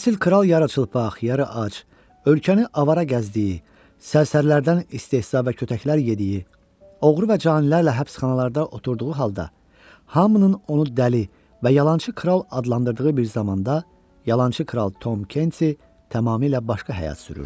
Əsl kral yarıçılpaq, yarı ac, ölkəni avara gəzdiyi, sərsərilərdən istehza və kötəklər yediyi, oğru və canilərlə həbsxanalarda oturduğu halda, hamının onu dəli və yalançı kral adlandırdığı bir zamanda yalançı kral Tom Kensi tamamilə başqa həyat sürürdü.